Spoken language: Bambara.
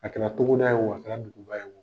A kɛra togoda ye wo, a kɛra duguba ye wo.